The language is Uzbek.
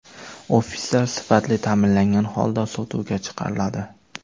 Ofislar sifatli ta’mirlangan holda sotuvga chiqariladi.